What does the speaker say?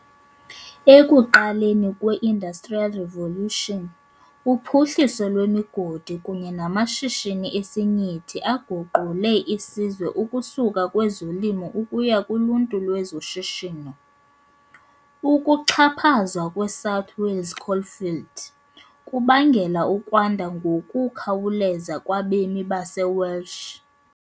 Ekuqaleni kwe- Industrial Revolution, uphuhliso lwemigodi kunye namashishini esinyithi aguqule isizwe ukusuka kwizolimo ukuya kuluntu lwezoshishino, ukuxhaphazwa kweSouth "Wales Coalfield" kubangele ukwanda ngokukhawuleza kwabemi baseWelsh.